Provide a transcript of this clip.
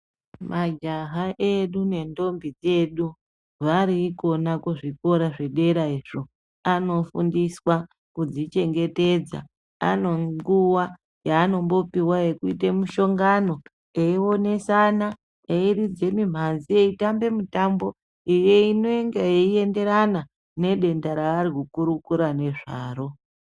Majaha edu nendombi dzedu vari ikona kuzvikora zvedera izvo anofundiswa kudzichengetedza. Anonguva yaanombopiwa yekuite mishongano eionesana. Eiridze mimhanzi eitambe mitambo inenge yeienderana nedenda raarikukurukura nezvaro.